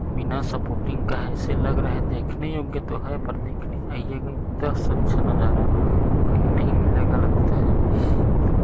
बिना सपोर्टिंग का है ऐसा लग रहा है देखने योग्य तो है पर देखने आइएगा इतना अच्छा नजारा कहीं नहीं मिलेगा लगता है।